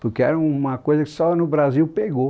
Porque era uma coisa que só no Brasil pegou.